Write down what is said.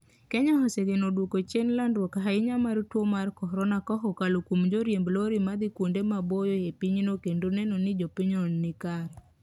Kenya osegeno duoko chien landruok ahinya mar tuo mar corona kaokalo kuom joriemb lorry ma dhi kuonde maboyo e pinyno kendo neno ni jopiny no nikare